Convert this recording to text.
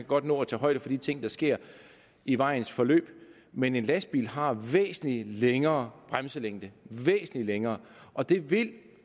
godt nå at tage højde for de ting der sker i vejens forløb men en lastbil har væsentlig længere bremselængde væsentlig længere og det vil